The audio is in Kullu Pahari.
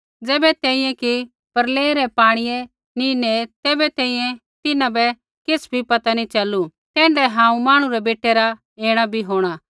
होर ज़ैबै तैंईंयैं कि ते प्रलय रै पाणियै नी नेऐ तैबै तैंईंयैं तिन्हां बै किछ़ भी पता नी च़लू तैण्ढाऐ हांऊँ मांहणु रै बेटै रा ऐणा बी होंणा